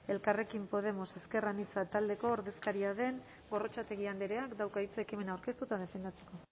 elkarrekin podemos ezker anitza taldeko ordezkaria den gorrotxategi andreak dauka hitza ekimena aurkeztu eta defendatzeko